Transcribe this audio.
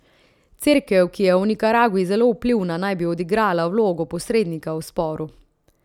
Cerkev, ki je v Nikaragvi zelo vplivna, naj bi odigrala vlogo posrednika v sporu.